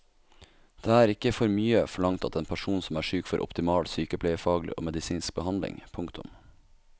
Det er ikke for mye forlangt at en person som er syk får optimal sykepleiefaglig og medisinsk behandling. punktum